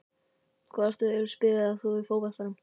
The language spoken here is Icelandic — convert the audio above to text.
Hvaða stöðu spilaðir þú í fótboltanum?